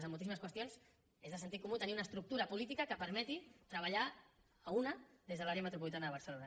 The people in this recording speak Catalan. en moltíssimes qüestions és de sentit comú tenir una estructura política que permeti treballar a una des de l’àrea metropolitana de barcelona